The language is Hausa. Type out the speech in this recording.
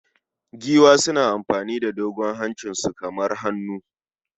Giwa suna amfani da dogon hancinsu kamar hannu